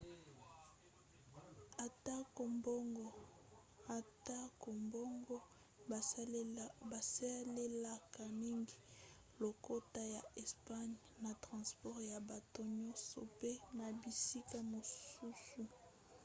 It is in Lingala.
atako bongo basalelaka mingi lokota ya espagne na transport ya bato nyonso pe na bisika mosusu